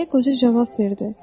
Deyə qoca cavab verdi.